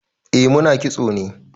Eh mu na kitso ne.